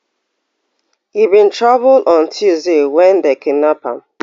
e bin travel on tuesday wen dem kidnap am